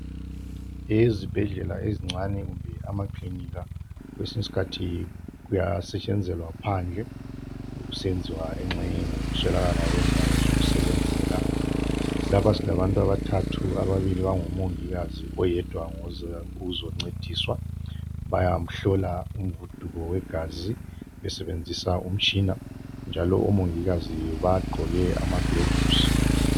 Ezibhedlela ezincane kumbe amakilinika kwesinye isikhathi kuyasetshenzelwa phandle kusenziwa engxenye ngokuswelakala kwendawo zokusebenzela. Lapha silabantu abathathu, ababili bangomongikazi oyedwa uze la ukuzoncediswa bayamhlola umguduko wegazi besebenzisa umtshina njalo omongikazi bagqoke amaglovosi.